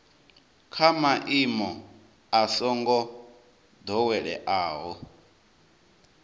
kha maimo a songo doweleaho